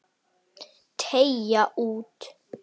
Deyja út.